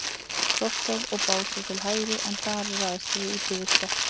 Krossá og Básar til hægri, en þar er aðstaða Útivistar.